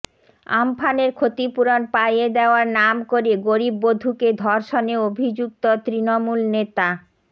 আমফানের ক্ষতিপূরণ পাইয়ে দেওয়ার নাম করে গরিব বধূকে ধর্ষণে অভিযুক্ত তৃণমূল নেতা